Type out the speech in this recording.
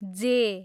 जे